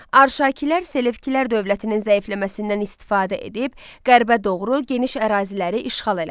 Arşakilər Selevkilər dövlətinin zəifləməsindən istifadə edib qərbə doğru geniş əraziləri işğal elədi.